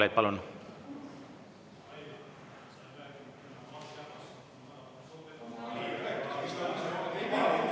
Aitäh!